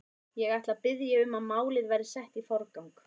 Ég ætla að biðja um að málið verði sett í forgang.